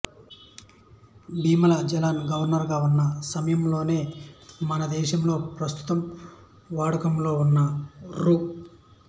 Bimal Jalan governor గా ఉన్న సమయంలోనే మనదేశంలో ప్రస్తుతం వాడకంలో ఉన్న రూ